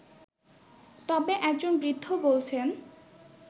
তবে একজন বৃদ্ধ বলছেন